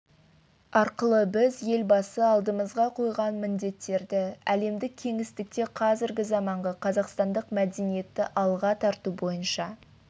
арқылы біз елбасы алдымызға қойған міндеттерді әлемдік кеңістікте қазіргі заманғы қазақстандық мәдениетті алға тарту бойынша